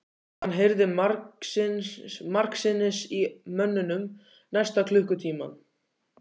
Hann heyrði margsinnis í mönnunum næsta klukkutímann.